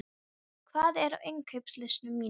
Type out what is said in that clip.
Óla, hvað er á innkaupalistanum mínum?